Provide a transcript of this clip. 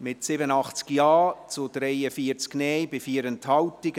mit 87 Ja- zu 43 Nein-Stimmen bei 4 Enthaltungen.